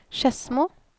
Skedsmo